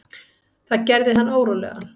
Það gerði hann órólegan.